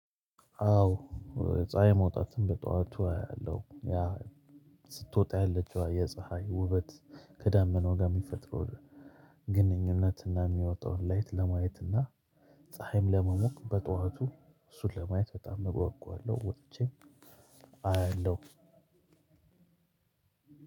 አዎ ፀሀይ መውጣትን በጠዋቱ አያለሁ። ያ ስትወጣ ያለችው የፀሀይ ውበት፣ ከዳመናው ጋር የሚፈጥረው ግንኙነትና የሚያወጣውን ላይት ለማየትና ፀሀይም ለመሞቅ በጠዋቱ እሱን ለማየት በጣም እጓጓለሁ ወጥቼም አየለው።